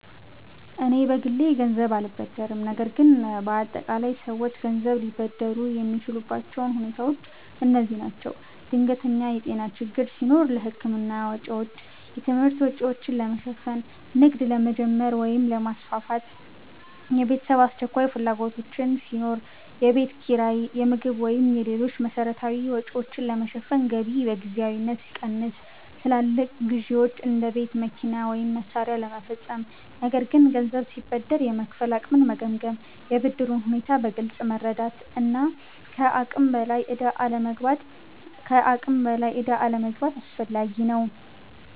እኔ በግሌ ገንዘብ አልበደርም፣ ነገር ግን በአጠቃላይ ሰዎች ገንዘብ ሊበደሩ የሚችሉባቸው ሁኔታዎች እነዚህ ናቸው፦ ድንገተኛ የጤና ችግር ሲኖር ለሕክምና ወጪዎች። የትምህርት ወጪዎችን ለመሸፈን። ንግድ ለመጀመር ወይም ለማስፋፋት። የቤተሰብ አስቸኳይ ፍላጎቶች ሲኖሩ። የቤት ኪራይ፣ የምግብ ወይም ሌሎች መሠረታዊ ወጪዎችን ለመሸፈን ገቢ በጊዜያዊነት ሲቀንስ። ትላልቅ ግዢዎች (እንደ ቤት፣ መኪና ወይም መሳሪያ) ለመፈጸም። ነገር ግን ገንዘብ ሲበደር የመክፈል አቅምን መገምገም፣ የብድሩን ሁኔታ በግልጽ መረዳት እና ከአቅም በላይ ዕዳ አለመግባት አስፈላጊ ነው።